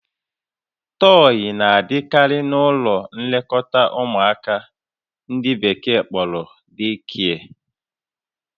Tọyị na-adịkarị n'ụlọ nlekọta ụmụaka nke ndị Bekee kpọrọ "deekie"